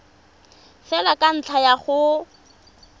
fela ka ntlha ya go